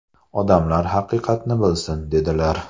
Odamlar haqiqatni bilsin!” dedilar.